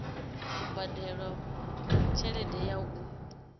u badela tshelede ya u